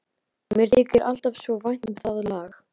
Mér þykir alltaf svo vænt um það lag.